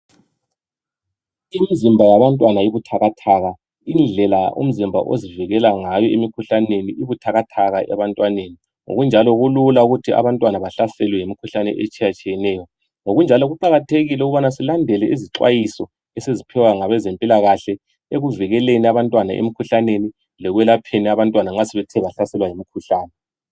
Imizimba yabantwana ibuthakathaka indlela umzimba ozivikela ngayo emikhuhlaneni ibuthakathaka ebantwaneni ngokunjalo kulula ukuthi abantwana bahlaselwe yimikhuhlane etshiyatshiyeneyo. Ngokunjalo kuqakathekile ukubana silandele izixwayiso esiziphiwa ngabezempilakahle ekuvikeleni abantwana emikhuhlaneni lekwelapheni nxa abantwana sebethe bahlaselwa yimikhuhlane.